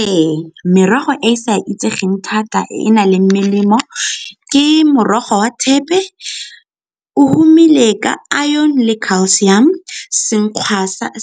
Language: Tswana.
Ee, merogo e e sa itsegeng thata e e nang le melemo ke morogo wa thepe, o humile ka iron le calcium,